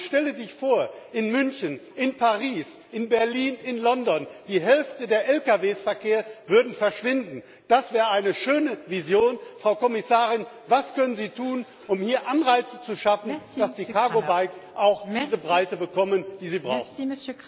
Man stelle sich vor In München, in Paris, in Berlin, in London würde die Hälfte des Lkw Verkehrs verschwinden das wäre eine schöne Vision, Frau Kommissarin! Was können Sie tun, um hier Anreize zu schaffen, damit die Cargo Bikes auch diese Breite bekommen, die sie brauchen?